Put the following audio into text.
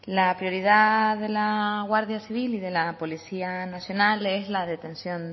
la prioridad de la guardia civil y de la policía nacional es la detención